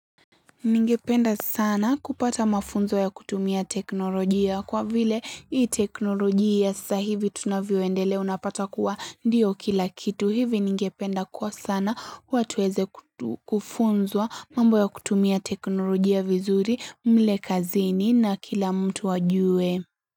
Ningependa sana kupata mafunzo ya kutumia teknolojia kwa vile hii teknolojia ya sahivi tunavyoendelea unapata kuwa ndio kila kitu. Hivi ningependa kwa sana watu waeze kufunzwa mambo ya kutumia teknolojia vizuri mle kazini na kila mtu ajue.